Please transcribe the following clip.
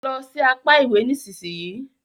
Lọ sì apá ìwé nísìsiyìí!